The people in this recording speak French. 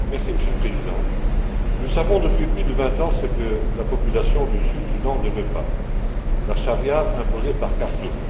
Monsieur le Président, nous savons depuis plus de vingt ans ce que la population du Sud Soudan ne veut pas la charia imposée par Khartoum.